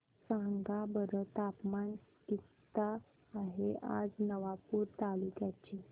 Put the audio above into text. सांगा बरं तापमान किता आहे आज नवापूर तालुक्याचे